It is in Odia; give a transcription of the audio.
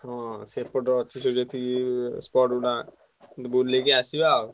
ହଁ ସେପଟ ଅଛି ସବୁ ଯେତିକି spot ଗୁଡା ବୁଲିକି ଆସିବା ଆଉ।